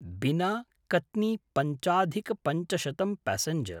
बिना–कत्नि पञ्चाधिक पञ्चशतं पैसेंजर्